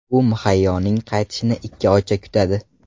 U Muhayyoning qaytishini ikki oycha kutadi.